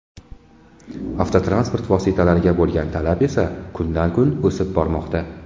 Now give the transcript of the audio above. Avtotransport vositalariga bo‘lgan talab esa kundan-kun o‘sib bormoqda.